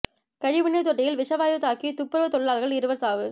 கழிவு நீா் தொட்டியில் விஷவாயு தாக்கி துப்புரவுத் தொழிலாளா்கள் இருவா் சாவு